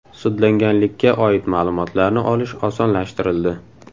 Sudlanganlikka oid ma’lumotlarni olish osonlashtirildi.